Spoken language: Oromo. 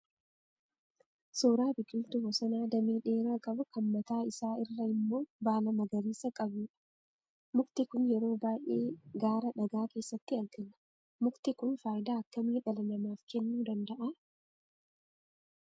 Suuraa biqiltuu bosonaa damee dheeraa qabu kan mataa isaa irra immoo baala magariisa qabuudha. Mukti kun yeroo baay'ee gaara dhagaa keessatti argama. Mukti kun faayidaa akkamii dhala namaaf kennuu danda'aa?